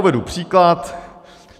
Uvedu příklad.